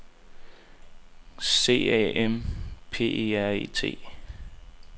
C A M P E R E T